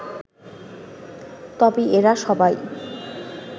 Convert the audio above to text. তবে এরা সবাই